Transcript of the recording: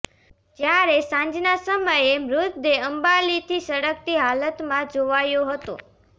જયારે સાંજના સમયે મૃતદેહ અંબાલીથી સળગતી હાલતમાં જોવાયો હતો